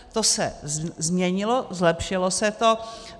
To se změnilo, zlepšilo se to.